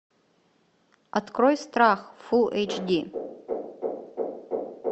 открой страх фул эйч ди